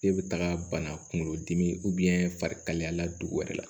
E bɛ taga bana kunkolo dimi farikalaya la dugu wɛrɛ la